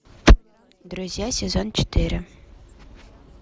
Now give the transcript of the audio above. друзья сезон четыре